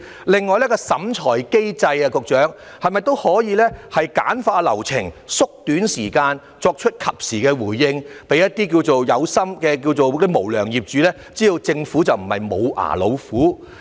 另外，局長，在審裁機制方面是否都可以簡化流程和縮短時間，以作出及時的回應，令一些"有心"的無良業主知道政府不是"無牙老虎"？